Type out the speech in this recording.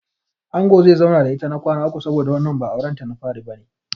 Angon zai zauna da ita na kwana uku saboda wannan ba auren ta na fari bane.